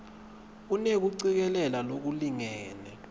unekucikelela lolulingene